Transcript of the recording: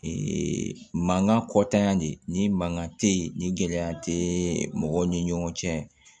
mankan kɔtanya de ni mankan tɛ ye nin gɛlɛya tɛ mɔgɔw ni ɲɔgɔn cɛ